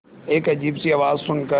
एक अजीब सी आवाज़ सुन कर